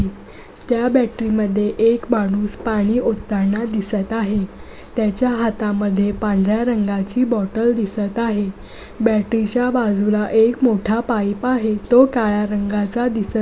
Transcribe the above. त्या बॅटरी मध्ये एक माणूस पाणी ओताना दिसत आहे त्याच्या हाता मध्ये पांढर्‍या रंगाची बॉटल दिसत आहे बॅटरी च्या बाजूला एक मोठा पाइप आहे तो काळ्या रंगाचा दिसत --